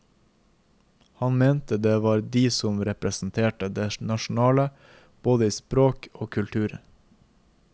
Han mente det var de som representerte det nasjonale, både i språk og kultur.